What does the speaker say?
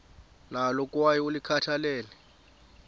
nalo kwaye ulikhathalele